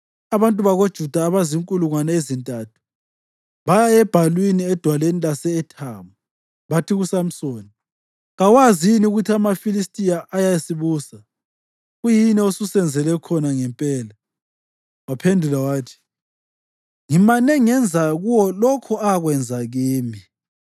Abantu bakoJuda abazinkulungwane ezintathu baya ebhalwini edwaleni lase-Ethamu bathi kuSamsoni, “Kawazi yini ukuthi amaFilistiya ayasibusa? Kuyini osusenzele khona ngempela?” Waphendula wathi, “Ngimane ngenza kuwo lokho akwenza kimi.”